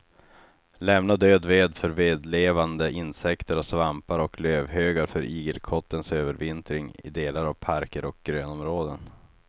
Lämna död ved för vedlevande insekter och svampar och lövhögar för igelkottens övervintring i delar av parker och grönområden.